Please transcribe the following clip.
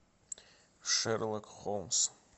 шерлок холмс